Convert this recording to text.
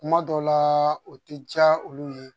Kuma dɔw la o tɛ diya olu ye